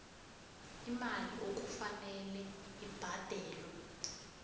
imali okufanele ibhadelwe